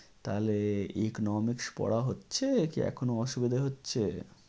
তাহলে economics পড়া হচ্ছে কি এখনো অসুবিধে হচ্ছে?